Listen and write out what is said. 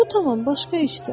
Bu tamam başqa işdir.